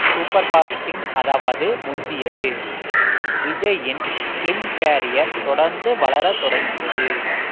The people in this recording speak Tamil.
super அதாவது முந்தியது விஜயின் film carrier தொடர்ந்து வளரத் தொடங்கியது